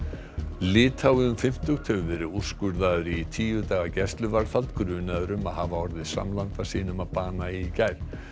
litái um fimmtugt hefur verið úrskurðaður í tíu daga gæsluvarðhald grunaður um að hafa orðið samlanda sínum að bana í gær